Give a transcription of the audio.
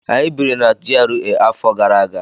Anyị biri na GRA afọ gara aga.